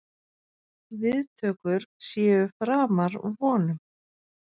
Viðtökur séu framar vonum.